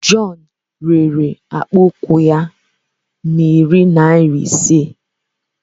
John rere akpụkpọ ụkwụ ya narị naira ise.